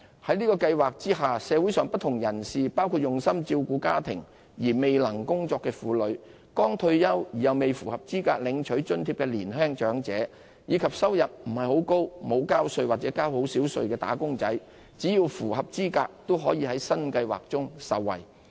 在這計劃下，社會上不同人士，包括專心照顧家庭而未能工作的婦女、剛退休而未符合資格領取津貼的年輕長者，以及收入不高、沒有交稅或交稅不多的"打工仔"，只要符合資格，均可受惠於新計劃。